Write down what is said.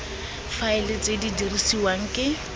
faela tse di dirisiwang ke